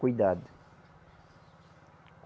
Cuidado.